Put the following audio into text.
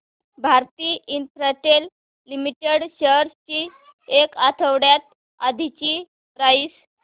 Bharti Infratel limited shares ची एक आठवड्या आधीची प्राइस